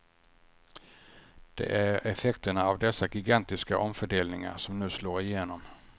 Det är effekterna av dessa gigantiska omfördelningar som nu slår igenom.